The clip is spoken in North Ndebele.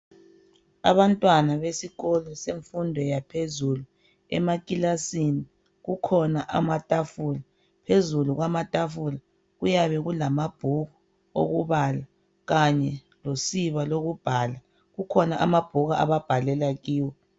Abantwana besikolo semfundo yaphezulu. Emakilasini kukhona amatafula. Phezulu kwamatafula kuyabe kulamabhuku okubala kanye losiba lokubhala. Kukhona amabhuku ababhalela kiwo.